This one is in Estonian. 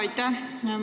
Aitäh!